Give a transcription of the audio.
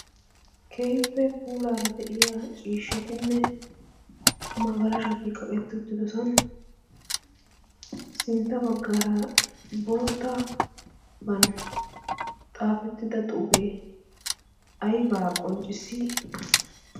Keehippe puulaara de"iya ciishshatinne magaloshiti kaqetti uttido sohuwan sintta baggaara boottaban xaafettida xuufee aybaa qonccissii?